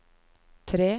tre